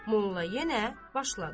Molla yenə başladı.